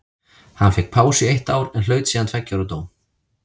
Hann fékk pásu í eitt ár en hlaut síðan tveggja ára dóm.